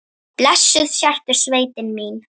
Blessuð sértu sveitin mín!